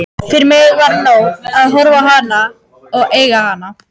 Fyrir mig var nóg að horfa á hana og eiga hana.